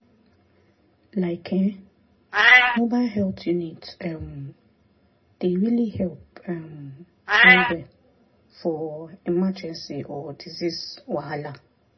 like[um]mobile health unit um dey really help um well-well for emergency or disease wahala.